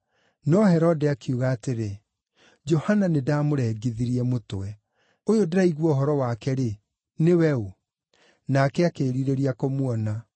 No Herode akiuga atĩrĩ, “Johana nĩndamũrengithirie mũtwe. Ũyũ ndĩraigua ũhoro wake-rĩ, nĩwe ũ?” Nake akĩĩrirĩria kũmuona.